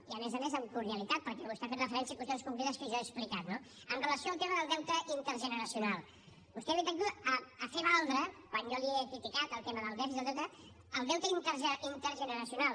i a més a més amb cordialitat perquè vostè ha fet referència a qüestions concretes que jo he explicat no amb relació al tema del deute intergeneracional vostè ha vingut aquí ha fer valdre quan jo li he criticat el tema del dèficit i el deute el deute intergeneracional